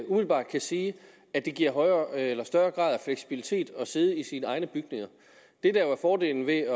umiddelbart kan sige at det giver en højere grad af fleksibilitet at sidde i sine egne bygninger det der jo er fordelen ved